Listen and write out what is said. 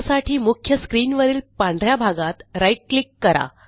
त्यासाठी मुख्य स्क्रीनवरील पांढ या भागात राईट क्लिक करा